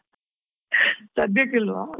ಸದ್ಯಕ್ಕಿಲ್ವಾ?